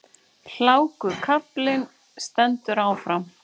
Hlákukaflinn stendur áfram